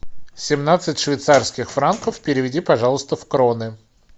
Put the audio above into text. семнадцать швейцарских франков переведи пожалуйста в кроны